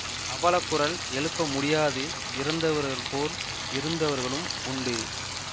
அவலக் குரல் எழுப்ப முடியாது இறந்தவர்கள் போல் இருந்தவர்களும் உண்டு